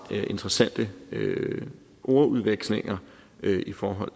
interessante ordudvekslinger i forhold